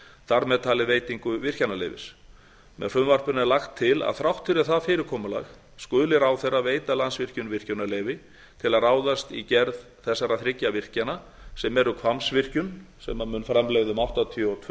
þar með talið veitingu virkjunarleyfis með frumvarpinu er lagt til að þrátt fyrir það fyrirkomulag skuli ráðherra veita landsvirkjun virkjunarleyfi til að ráðast í gerð þessara þriggja virkjana sem eru hvammsvirkjun sem mun framleiða um áttatíu og tvö